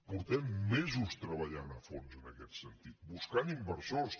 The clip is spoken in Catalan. fa mesos que treballem a fons en aquest sentit buscant inversors